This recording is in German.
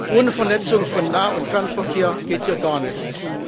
Ohne Vernetzung von Nah und Fernverkehr geht hier gar nichts.